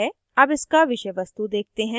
अब इसका विषय वस्तु देखते हैं